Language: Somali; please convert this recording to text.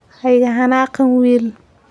Ha iga xanaaqin wiil.